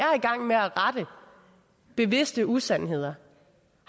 rette bevidste usandheder